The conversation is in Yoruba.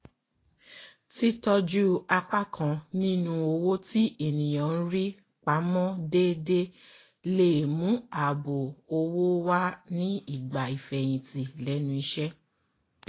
títọ́jú apá kan ninu owó tí ènìyàn ń rí pamó déédéé le mú ààbò owó wá nígbà ìfèyìntì lenú isẹ́